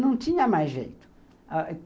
Não tinha mais jeito. Ãh